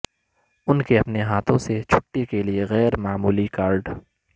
ان کے اپنے ہاتھوں سے چھٹی کے لئے غیر معمولی کارڈ